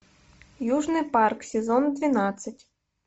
южный парк сезон двенадцать